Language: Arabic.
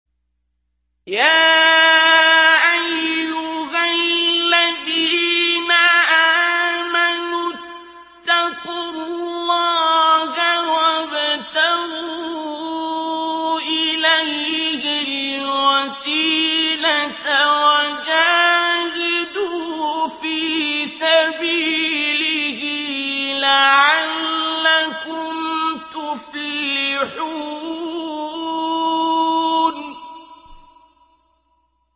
يَا أَيُّهَا الَّذِينَ آمَنُوا اتَّقُوا اللَّهَ وَابْتَغُوا إِلَيْهِ الْوَسِيلَةَ وَجَاهِدُوا فِي سَبِيلِهِ لَعَلَّكُمْ تُفْلِحُونَ